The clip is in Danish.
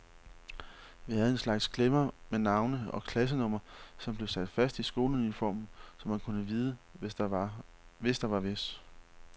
Vi havde en slags klemmer med navne og klassenummer, som blev sat fast i skoleuniformen, så man kunne vide, hvis der var hvis.